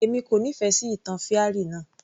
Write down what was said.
Èmi kò nífẹ̀ẹ́ sí ìtàn fairy náà